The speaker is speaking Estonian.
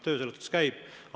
Töö selles suhtes käib.